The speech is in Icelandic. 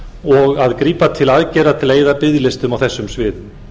og að grípa til aðgerða til að eyða biðlistum á þessum sviðum